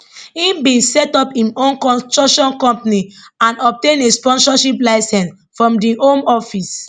im bin set up im own construction company and obtain a sponsorship licence from di home office